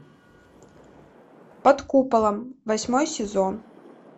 под куполом восьмой сезон